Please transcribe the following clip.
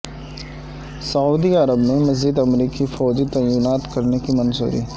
سعودی عرب میں مزید امریکی فوجی تعینات کرنے کی منظوری